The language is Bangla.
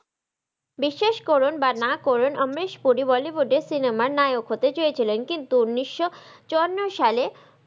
বিশ্বাস করুন বা না করুন আম্রেশ পুরি bollywood এ cinema র নায়ক হতে চেয়েছিলেন কিন্তু উনিশশো চুয়ান্নো সালে,